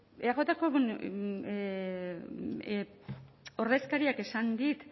eajko ordezkariak esan dit